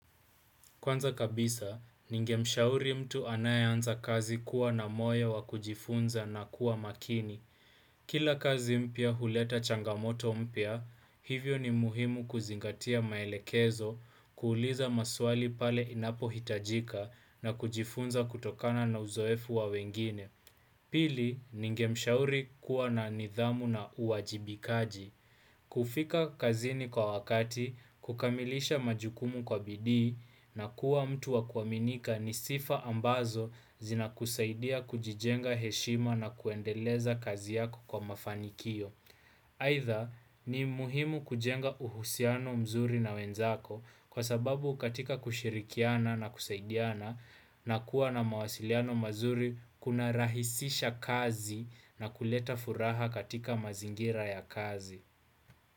Kwanza kabisa, ningemshauri mtu anayeanza kazi kuwa na moyo wa kujifunza na kuwa makini. Kila kazi mpya huleta changamoto mpya, hivyo ni muhimu kuzingatia maelekezo, kuuliza maswali pale inapo hitajika na kujifunza kutokana na uzoefu wa wengine. Pili, ningemshauri kuwa na nidhamu na uwajibikaji. Kufika kazini kwa wakati, kukamilisha majukumu kwa bidii na kuwa mtu wa kuaminika ni sifa ambazo zina kusaidia kujijenga heshima na kuendeleza kazi yako kwa mafanikio. Aidha ni muhimu kujenga uhusiano mzuri na wenzako kwa sababu katika kushirikiana na kusaidiana na kuwa na mawasiliano mazuri kunarahisisha kazi na kuleta furaha katika mazingira ya kazi.